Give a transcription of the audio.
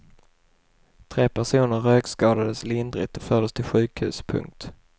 Tre personer rökskadades lindrigt och fördes till sjukhus. punkt